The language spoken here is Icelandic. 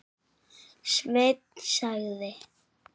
Sveinn sagði.